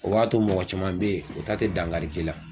O b'a to mɔgɔ caman bɛ ye o ta tɛ dangari k'i la.